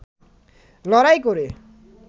লড়াই করে